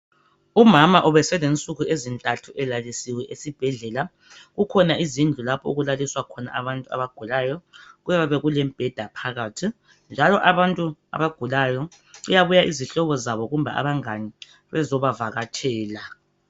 Umama ubeselensuku ezintathu elalisiwe esibhedlela kukhona izindlu lapho okulaliswa khona abantu abagulayo kuyabe kulembheda phakathi njalo abantu abagulayo kuyabuya izihlobo zabo kumbe abangani bezobavakatshela.